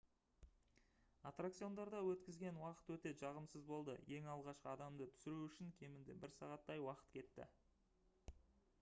аттракциондарда өткізген уақыт өте жағымсыз болды ең алғашқы адамды түсіру үшін кемінде бір сағаттай уақыт кетті